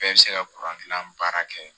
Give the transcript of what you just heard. Bɛɛ bɛ se ka baara kɛ